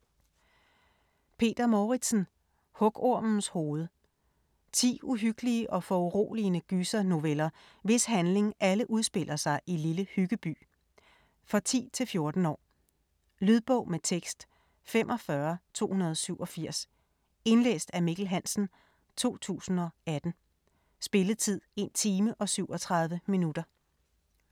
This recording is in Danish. Mouritzen, Peter: Hugormens hoved 10 uhyggelige og foruroligende gysernoveller, hvis handling alle udspiller sig i Lille Hyggeby. For 10-14 år. Lydbog med tekst 45287 Indlæst af Mikkel Hansen, 2018. Spilletid: 1 time, 37 minutter.